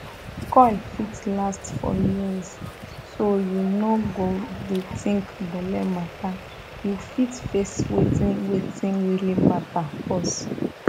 coil fit last for years so you no go dey think belle matter you fit face wetin wetin really matter pause